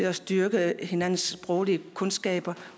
at styrke hinandens sproglige kundskaber